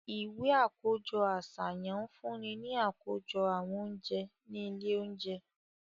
Iwe akojọ aṣayan ǹ funni ni akojọ awọn ounjẹ ni ile ounjẹ